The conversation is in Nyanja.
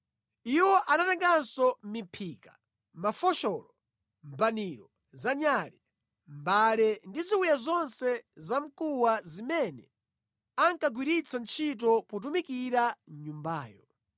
Iwo anatenganso miphika, mafosholo, mbaniro za nyale, mbale ndi ziwiya zonse zamkuwa zimene ankagwiritsa ntchito potumikira mʼNyumbayo.